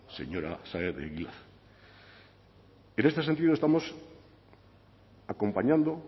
señora saez de egilaz en este sentido estamos acompañando